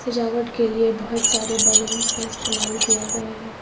सजावट के लिए बहोत सारे बलूंस का इस्तेमाल किया गया है।